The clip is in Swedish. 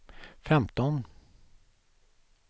femton